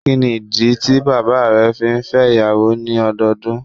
Kíni ìdí tí bàbá rẹ fi n fẹ́ ìyàwó ní ọdọọdún